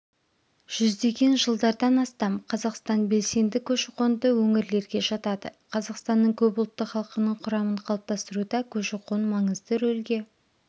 жүздеген жылдардан астам қазақстан белсенді көші-қонды өңірлерге жатады қазақстанның көп ұлтты халқының құрамын қалыптастыруда көші қон маңызды рөлге